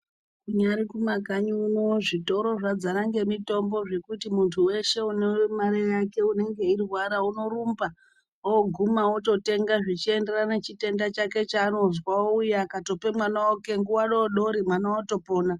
Kunyari kumakanyi uno zvitoro zvadzara ngemitombo zvekuti muntu weshe anemare yake unenge eirwara unorumba oguma ototenga zvichienderana chitenda chake chaanozwa ouya akatope mwana wake nguwa dodori mwana otopona.